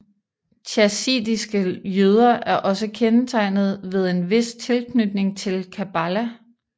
Chasidiske jøder er også kendetegnet ved en vis tilknytning til kabbala